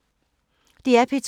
DR P2